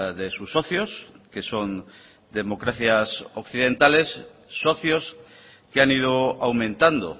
de sus socios que son democracias occidentales socios que han ido aumentando